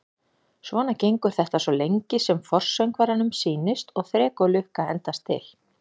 Svona gengur þetta svo lengi sem forsöngvaranum sýnist og þrek og lukka endast til.